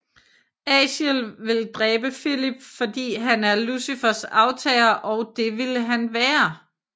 Aziel vil dræbe Filip fordi han er Lucifers aftager og det ville han være